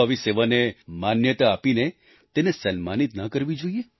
શું આવી સેવાને માન્યતા આપીને તેને સન્માનિત ન કરવી જોઈએ